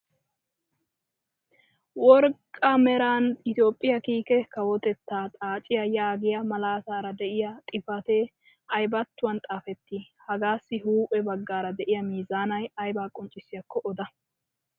Worqqa meeran "Itoophphiyaa kiike kawotettaa xaaciyaa" yaagiyaa malaatara de'iyaa xifaatee aybattuwaan xaafettii? hagaassi huuphphe baggaara de'iyaa meezanay aybaa qonccisyaako oda?